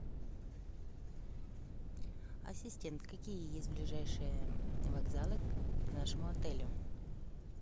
ассистент какие есть ближайшие вокзалы к нашему отелю